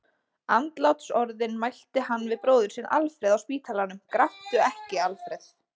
Andlátsorðin mælti hann við bróður sinn Alfreð á spítalanum: Gráttu ekki, Alfreð!